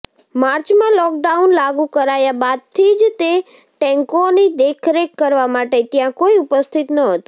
માર્ચમાં લોકડાઉન લાગુ કરાયા બાદથી જ તે ટેન્કોની દેખરેખ કરવા માટે ત્યાં કોઈ ઉપસ્થિત નહોતું